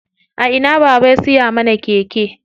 A ina baba ya siya mana keke?